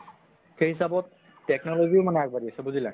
সেই হিচাবত technology ও মানে আগ বাঢ়ি আছে বুজিলা?